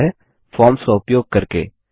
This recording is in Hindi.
और वह है फॉर्म्स का उपयोग करके